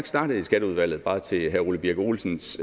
startet i skatteudvalget bare til herre ole birk olesens